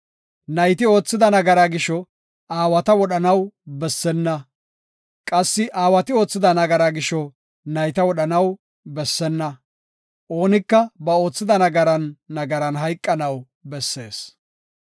Nayti oothida nagaraa gisho, aawata wodhanaw bessenna; qassi aawati oothida nagaraa gisho nayta wodhanaw bessenna. Oonika ba oothida nagaran nagaran hayqanaw bessees.